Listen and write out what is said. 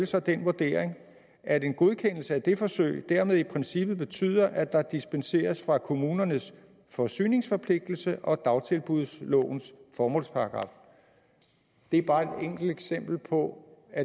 så den vurdering at en godkendelse af det forsøg dermed i princippet betyder at der dispenseres fra kommunernes forsyningsforpligtelse og dagtilbudslovens formålsparagraf det er bare et enkelt eksempel på